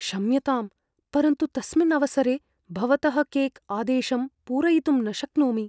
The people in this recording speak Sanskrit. क्षम्यताम्, परन्तु तस्मिन् अवसरे भवतः केक् आदेशं पूरयितुं न शक्नोमि।